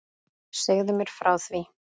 Segðu mér frá því.